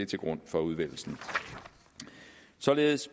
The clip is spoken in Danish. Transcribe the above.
til grund for udvælgelsen således